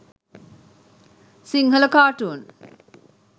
sinhala cartoon